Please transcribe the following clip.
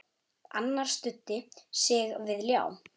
Annar studdi sig við ljá.